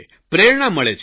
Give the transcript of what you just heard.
પ્રેરણા મળે છે